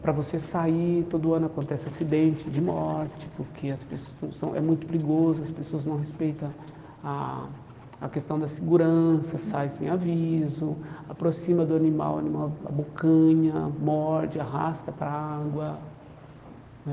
para você sair, todo ano acontece acidente de morte, porque as pessoas não são é muito perigoso, as pessoas não respeitam a a questão da segurança, sai sem aviso, aproxima do animal o animal abocanha, morde, arrasta para a água né.